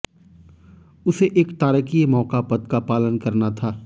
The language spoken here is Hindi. उसे एक तारकीय मौका पद का पालन करना था